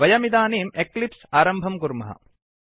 वयमिदानीम् eclipse आरम्भं कुर्मः